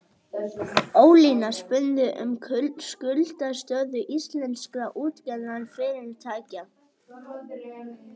Ólína spurði um skuldastöðu íslenskra útgerðarfyrirtækja